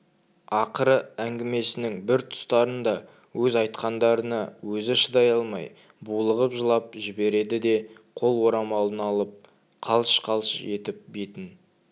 ақыры әңгімесінің бір тұстарында өз айтқандарына өзі шыдай алмай булығып жылап жібереді де қол орамалын алып қалш-қалш етіп бетін